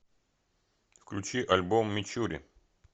включи альбом мичури